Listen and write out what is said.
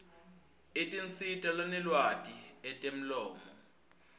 etinsita lanelwati etemlomo